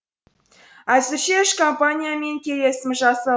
әзірге үш компаниямен келісім жаса